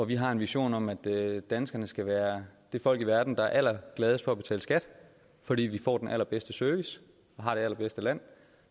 vi har en vision om at danskerne skal være det folk i verden der er gladest for at betale skat fordi vi får den allerbedste service og har det allerbedste land